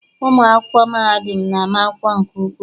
Ụmụ akwụkwọ mahadum na-ama akwụkwọ nke ukwuu.